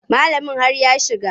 Malamin har ya shiga.